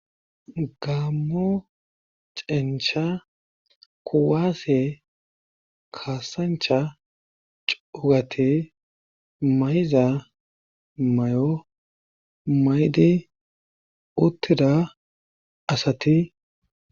gammo cencha kuwaase kaasancha cugati mayiza may7o maydi uttida asati